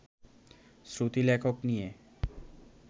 শ্রুতিলেখক নিয়ে